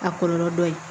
A kɔlɔlɔ dɔ ye